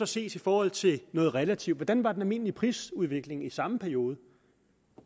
ses i forhold til noget relativt hvordan var den almindelige prisudvikling så i samme periode